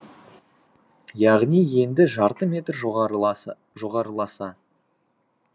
яғни енді жарты метр жоғарыласа